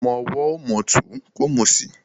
Ọmọ ọwọ́ ò mòtún kò mòsì.